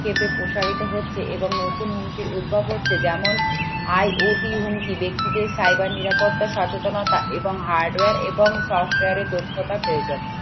প্রসারিত হচ্ছে এবং নতুন উদ্ভব হচ্ছে যেমন IOP হুমকি ব্যক্তিদের cyber নিরাপত্তা সচেতনতা এবং hardware এবং software এ দক্ষতা প্রয়োজন